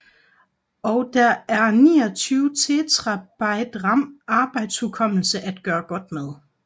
Og der er 29 terabyte ram arbejdshukommelse at gøre godt med